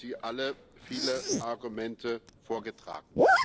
Dazu haben Sie alle viele Argumente vorgetragen.